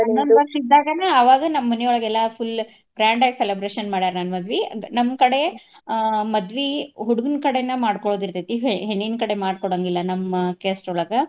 ವರ್ಷ ಇದ್ದಾಗೆನೆ ಅವಾಗ ನಮ್ಮ್ ಮನಿಯೊಳಗ ಎಲ್ಲಾ full grand ಗಿ celebration ಮಾಡ್ಯಾರ ನನ್ನ್ ಮದ್ವಿ. ಅಂದ್ರ ನಮ್ಮ್ ್ ಕಡಿ ಆಹ್ ಮದ್ವಿ ಹುಡ್ಗನ್ ಕಡೆನ ಮಾಡ್ಕೊಳೋದ್ ಇರ್ತೆತಿ ಹೆ~ ಹೆಣ್ಣಿನ ಕಡೆ ಮಾಡಿ ಕೋಡಾಂಗಿಲ್ಲಾ ನಮ್ಮ್ caste ಒಳಗ.